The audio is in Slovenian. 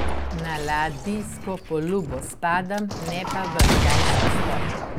Na ladijsko palubo spadam, ne pa v grajski stolp.